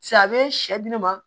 a bɛ sɛ di ne ma